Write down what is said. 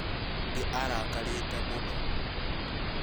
Nĩ arakarĩte mũno